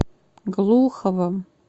глуховым